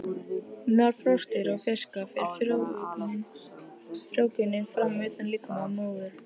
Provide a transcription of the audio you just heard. Meðal froskdýra og fiska fer frjóvgunin fram utan líkama móður.